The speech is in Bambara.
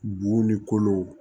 Bun ni kolo